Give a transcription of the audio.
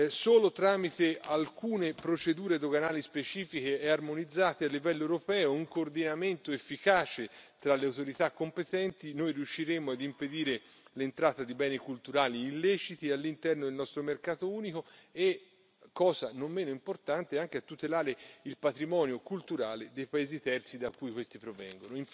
Solo tramite alcune procedure doganali specifiche e armonizzate a livello europeo e un coordinamento efficace tra le autorità competenti noi riusciremo a impedire l'entrata di beni culturali illeciti all'interno del nostro mercato unico e, cosa non meno importante, anche a tutelare il patrimonio culturale dei paesi terzi da cui questi provengono.